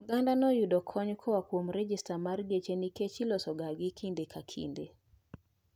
Oganda yudoga kony koa kuom regesta mar geche nikech iloso gagi kinde ka kinde